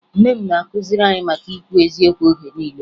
Nne m na-akụziri anyị maka ikwu eziokwu oge niile